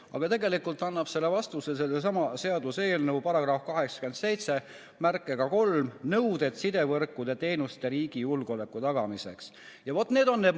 Aga tegelikult annab sellele vastuse sellesama seaduse § 873 "Nõuded sidevõrkudele ja -teenustele riigi julgeoleku tagamiseks", millega seda eelnõu täiendada tahetakse.